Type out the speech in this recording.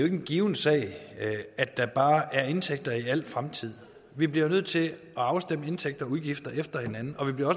en given sag at der bare er indtægter i al fremtid vi bliver jo nødt til at afstemme indtægter og udgifter efter hinanden og vi bliver